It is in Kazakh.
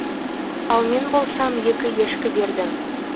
ал мен болсам екі ешкі бердім